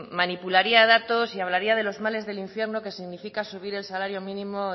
manipularía datos y hablaría de los males del infierno que significa subir el salario mínimo